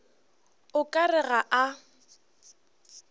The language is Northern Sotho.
o ka re ga a